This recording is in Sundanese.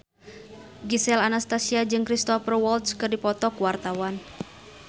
Gisel Anastasia jeung Cristhoper Waltz keur dipoto ku wartawan